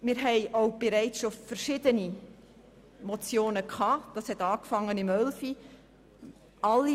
Wir haben auch bereits verschiedene Motionen dazu eingereicht, angefangen im Jahr 2011.